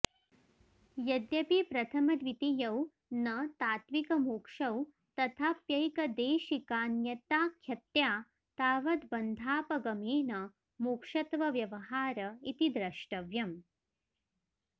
यद्यपि प्रथमद्वितीयौ न तात्त्विकमोक्षौ तथाप्यैकदेशिकान्यताख्यत्या तावद्बन्धापगमेन मोक्षत्वव्यवहार इति द्रष्टव्यम्